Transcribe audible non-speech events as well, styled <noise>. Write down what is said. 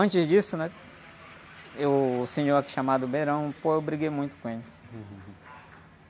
Antes disso, né? Eu... O senhor, aqui, chamado, <unintelligible> pô, eu briguei muito com ele.